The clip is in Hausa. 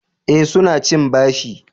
Eh, su na cin bashi